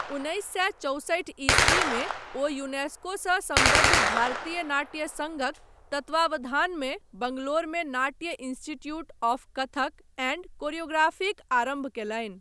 उन्नैस सए चौसठि ईस्वीमे ओ यूनेस्कोसँ सम्बद्ध भारतीय नाट्य सङ्घक तत्वावधानमे बङ्गलोरमे नाट्य इन्स्टिट्यूट आफ कथक एण्ड कोरियोग्राफीक आरम्भ कयलनि।